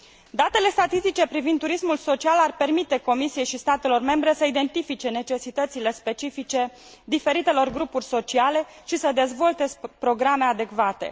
Datele statistice privind turismul social ar permite Comisiei și statelor membre să identifice necesitățile specifice diferitelor grupuri sociale și să dezvolte programe adecvate.